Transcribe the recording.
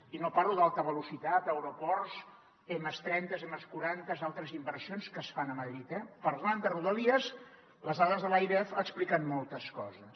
i no parlo d’alta velocitat aeroports ms trenta ms quaranta altres inversions que es fan a madrid eh parlant de rodalies les dades de l’airef expliquen moltes coses